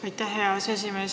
Aitäh, hea aseesimees!